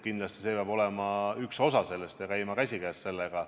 Kindlasti peab see olema üks osa sellest ja käima käsikäes sellega.